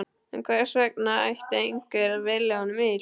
En hvers vegna ætti einhver að vilja honum illt?